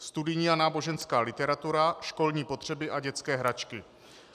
Studijní a náboženská literatura, školní potřeba a dětské hračky.